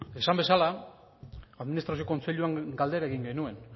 esan bezala administrazio kontseiluan galdera egin genuen